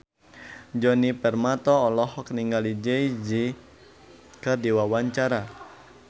Djoni Permato olohok ningali Jay Z keur diwawancara